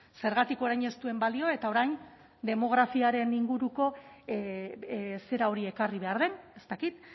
zergatik orain ez duen balio eta orain demografiaren inguruko zera hori ekarri behar den ez dakit